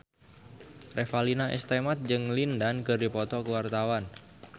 Revalina S. Temat jeung Lin Dan keur dipoto ku wartawan